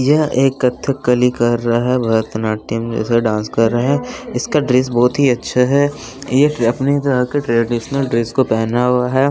यह एक कथकली कर रहा है भारतनाट्यम जैसा डांस कर रहे हैं इसका ड्रेस बहुत ही अच्छा है ये अपनी तरह के ट्रेडीशनल ड्रेस को पहना हुआ है।